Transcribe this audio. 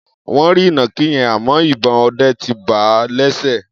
Wọ́n rí ìnàkí yẹn, àmọ́ ìbọn ọdẹ ti bà á lẹ́sẹ̀.